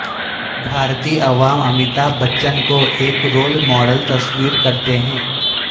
بھارتی عوام امیتابھ بچن کو ایک رول ماڈل تصور کر تے ہیں